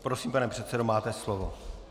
Prosím, pane předsedo, máte slovo.